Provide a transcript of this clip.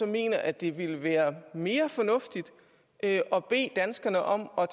mener at det ville være mere fornuftigt at at bede danskerne om at